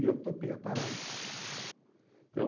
E eu topei a parada. Então,